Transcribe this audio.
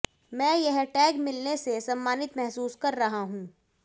मैं यह टैग मिलने से सम्मानित महसूस कर रहा हूं